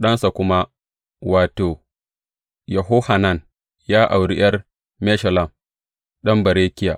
Ɗansa kuma, wato, Yehohanan, ya auri ’yar Meshullam, ɗan Berekiya.